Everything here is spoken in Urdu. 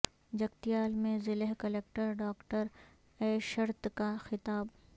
جگتیال میں ضلع کلکٹر ڈاکٹر اے شرت کا خطاب